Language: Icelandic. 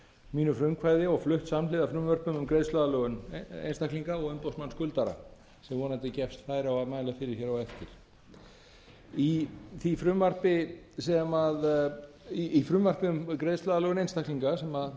mínu frumkvæði og flutt samhliða frumvörpum um greiðsluaðlögun einstaklinga og umboðsmann skuldara sem vonandi gefst færi á að mæla fyrir hér á eftir í frumvarpi um greiðsluaðlögun einstaklinga sem